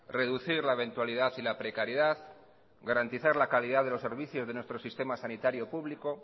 reducir la eventualidad y la precariedad garantizar la calidad de los servicios de nuestro sistema sanitario público